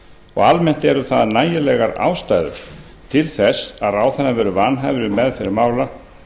og almennt eru það nægilegar ástæður til þess að ráðherrann verði vanhæfur um meðferð mála